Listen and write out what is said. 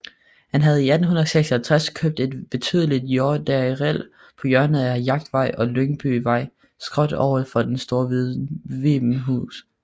Han havde i 1856 købt et betydeligt jordareal på hjørnet af Jagtvej og Lyngbyvej skråt over for Store Vibenshus